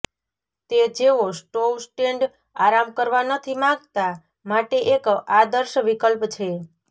તે જેઓ stove stand આરામ કરવા નથી માંગતા માટે એક આદર્શ વિકલ્પ છે